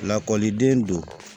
Lakɔliden don